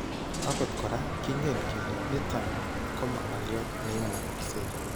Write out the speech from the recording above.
Akot koraa kingen kele niton koma ngolyoot neimukaksei